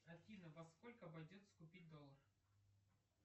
афина во сколько обойдется купить доллар